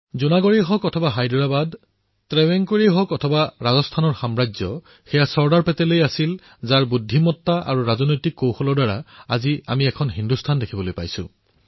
জুনাগড়েই হওক অথবা হায়দৰাবাদ শ্ৰাৱণকোৰেই হওক অথবা ৰাজস্থানৰ ৰাজশাসন তেওঁ চৰ্দাৰ পেটেলেই আছিল যাৰ বিচক্ষণতা আৰু কূটনৈতিক কৌশলৰ দ্বাৰা আজি আমি একক ভাৰত দেখিবলৈ পাইছোঁ